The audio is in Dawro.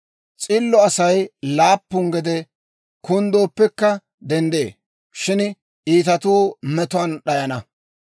S'illo Asay laappun gede kunddooppekka denddee; shin iitatuu metuwaan d'ayana.